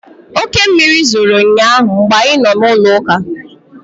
Oke mmiri zoro ụnyaahụ mgbe anyị nọ n'ụlọụka